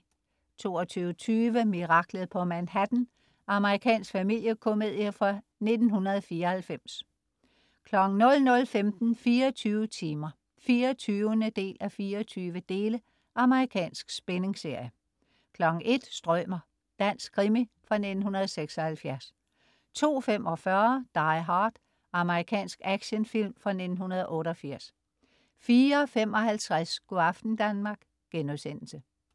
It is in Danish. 22.20 Miraklet på Manhattan. Amerikansk familiekomedie fra 1994 00.15 24 timer 24:24. Amerikansk spændingsserie 01.00 Strømer. Dansk krimi fra 1976 02.45 Die Hard. Amerikansk actionfilm fra 1988 04.55 Go' aften Danmark*